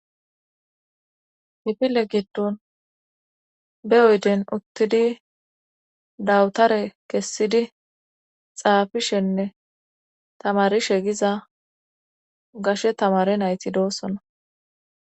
Kifile giddon be oyden uttidi dawtare kessidi xaafishenne tamarushe diza gashe tamare nayti doosona